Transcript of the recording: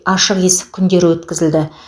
ашық есік күндері өткізілді